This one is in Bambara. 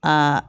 Aa